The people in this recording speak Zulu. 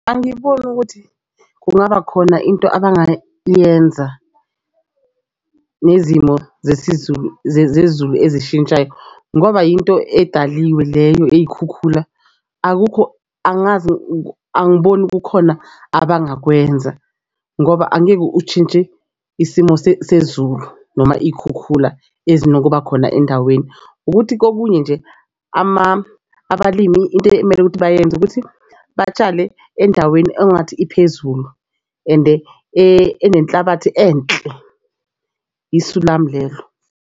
Angiboni ukuthi kungaba khona into abangayenza nezimo zesiZulu zezulu ezishintshayo ngoba yinto edaliwe leyo eyikhukhula. Akukho angazi, angiboni kukhona abangakwenza ngoba angeke ushintshe isimo sezulu noma iy'khukhula ezinokuba khona endaweni. Ukuthi kokunye nje abalimi into ekumele ukuthi bayenze ukuthi batshale endaweni ongathi iphezulu ende enenhlabathi enhle. Isu lami lelo.